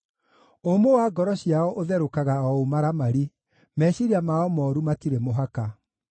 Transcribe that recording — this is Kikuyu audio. Ũmũ wa ngoro ciao ũtherũkaga o ũmaramari; meciiria mao mooru matirĩ mũhaka.